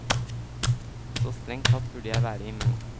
Så strengt tatt burde jeg være immun.